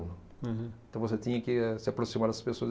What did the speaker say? Uhum. Então você tinha que se aproximar das pessoas.